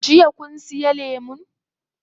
Jiya kun siya lemun?